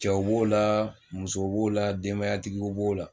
Cɛw b'o la musow b'o la denbayatigiw b'o la